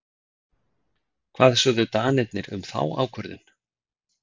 Hvað sögðu Danirnir um þá ákvörðun?